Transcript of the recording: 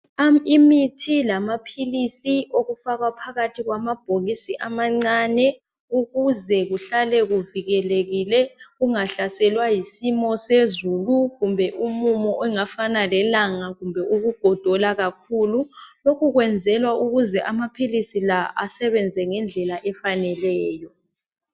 Imithi lamaphilisi okufakwa phakathi kwamabhokisi amancane ukuze kuhlale kuvikelekile kungahlaselwa yisimo sezulu, kumbe umumo ongafana lelanga, kumbe ukugodola kakhulu. Lokhu kwenzelwa ukuthi amaphilisi la asebenze ngendlela efaneleyo.